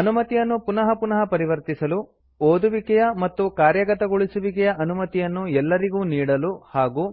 ಅನುಮತಿಯನ್ನು ಪುನಃ ಪುನಃ ಪರಿವರ್ತಿಸಲು ಓದುವಿಕೆಯ ಮತ್ತು ಕಾರ್ಯಗತಗೊಳಿಸುವಿಕೆಯ ಅನುಮತಿಯನ್ನು ಎಲ್ಲರಿಗೂ ನೀಡಲು ಹಾಗೂ